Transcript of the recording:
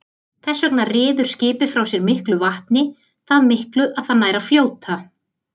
Þess vegna ryður skipið frá sér miklu vatni, það miklu að það nær að fljóta.